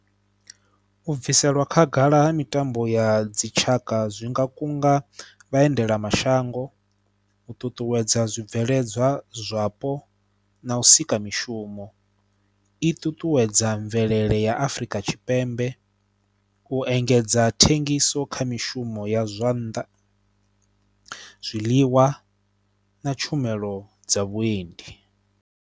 U bviselwa khagala ha mitambo ya dzitshaka zwi nga kunga vhaendelamashango, u ṱuṱuwedza zwibveledzwa zwapo na u sika mishumo. I ṱuṱuwedza mvelele ya Afrika Tshipembe, u engedza thengiso kha zwa mishumo ya zwannḓa, zwiḽiwa na tshumelo dza vhuendi.